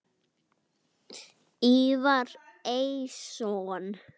Ívar Eiðsson